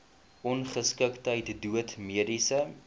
ongeskiktheid dood mediese